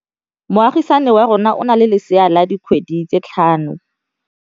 Moagisane wa rona o na le lesea la dikgwedi tse tlhano.